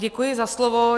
Děkuji za slovo.